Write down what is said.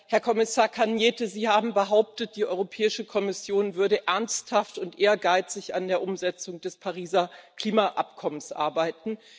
Herr Kommissar Caňete, Sie haben behauptet, die Europäische Kommission würde ernsthaft und ehrgeizig an der Umsetzung des Pariser Klimaabkommens arbeiten.